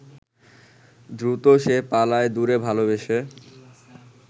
দ্রুত সে পালায় দূরে ভালবেসে